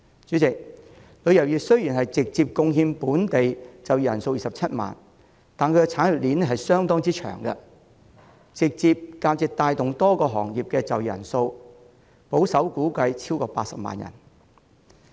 主席，旅遊業直接僱用的本地就業人數雖然只有27萬人，但其產業鏈相當長，直接或間接帶動多個行業的就業人數保守估計超過80萬人。